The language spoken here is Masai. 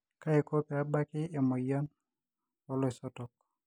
kaiko peebaki emoyian oloisotok